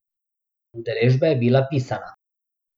Udeležba je bila pisana.